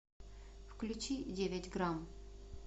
включи девять грамм